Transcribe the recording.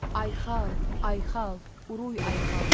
Ayxal! Ayxal! Uruy Ayxal!